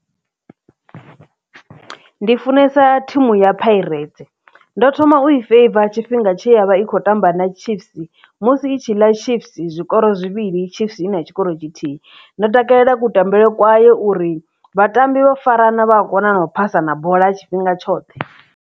Ndi funesa thimu ya pirates ndo thoma u i feiva tshifhinga tshe ya vha i khou tamba na chiefs musi i tshi ḽa chiefs zwikolo zwivhili chiefs ina tshikoro tshithihi ndo takalela kutambele kwawe uri vhatambi vho farana vha a kona na u phasana bola tshifhinga tshoṱhe.